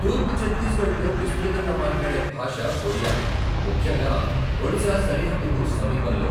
తూర్పు ఛత్తీస్గఢ్లో విస్తృతంగా మాట్లాడే భాష ఒడియా, ముఖ్యంగా ఒడిశా సరిహద్దుకు సమీపంలో.